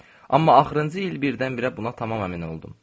Amma axırıncı il birdən-birə buna tamam əmin oldum.